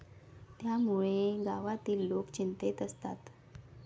त्यामुळे गावातील लोक चिंतेत असतात.